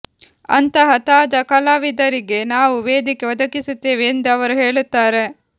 ಅಂತಹ ತಾಜಾ ಕಲಾವಿದರಿಗೆ ನಾವು ವೇದಿಕೆ ಒದಗಿಸುತ್ತೇವೆ ಎಂದು ಅವರು ಹೇಳುತ್ತಾರೆ